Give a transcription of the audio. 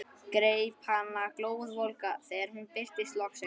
Greip hana glóðvolga þegar hún birtist loksins.